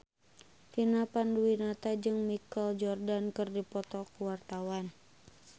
Vina Panduwinata jeung Michael Jordan keur dipoto ku wartawan